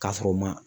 K'a sɔrɔ u ma